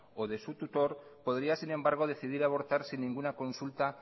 o de su tutor podría sin embargo decidir abortar sin ninguna consulta